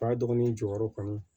Ba dɔgɔnin jɔyɔrɔ kɔni